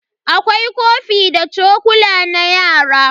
Akwai kofi da chokula na yara.